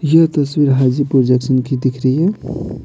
यह तस्वीर हाजी प्रोजेक्शन की दिख रही है।